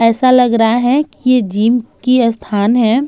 ऐसा लग रहा है कि ये जिम की स्थान है।